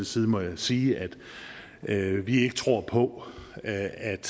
side må jeg sige at vi ikke tror på at